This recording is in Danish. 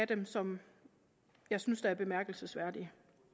dem som jeg synes er bemærkelsesværdige